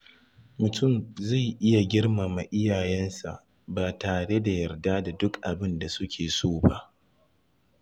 Mutum zai iya girmama iyayensa ba tare da yarda da duk abin da suke so ba.